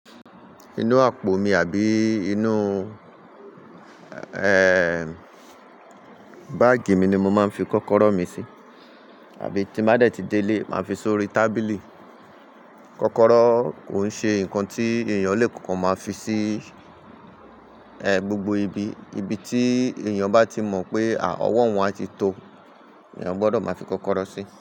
Inú àpò mi àbí inú, ẹ́ẹ́, báàgì mi ni mo máa ń fi kọ́kọ́rọ́ mi sí. Àbí tí bá dẹ̀ ti dé ilé, màá fi sí orí tábìlì. Kọ́kọ́rọ́ kò ṣe nǹkan tí èèyàn lè kan máa fi sí, ẹ́, gbogbo ibi. Ibi tí èèyàn bá ti mọ̀ pé à, ọwọ́ òun á ti tó, èèyàn gbọdọ̀ máa fi kọ́kọ́rọ́ sí.